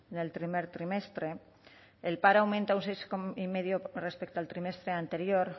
en el primer trimestre el paro ha aumentado un seis coma cinco con respecto al trimestre anterior